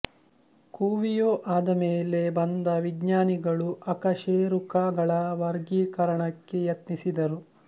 Cuvier ಆದಮೇಲೆ ಬಂದ ವಿಜ್ಞಾನಿಗಳು ಅಕಶೇರುಕ ಗಳ ವರ್ಗೀಕರಣಕ್ಕೆ ಯತ್ನಿಸಿ ದರು